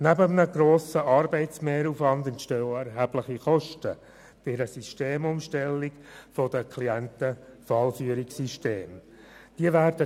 Neben einem grossen Arbeitsmehraufwand entstehen durch eine Systemumstellung der Klienten-Fallführungssysteme auch erhebliche Kosten.